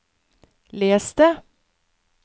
les det